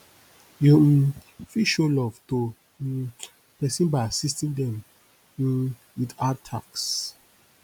you um fit show love to um person by assiting them um with hard tasks